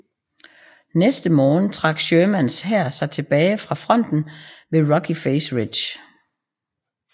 Næste morgen trak Shermans hær sig tilbage fra fronten ved Rocky Face Ridge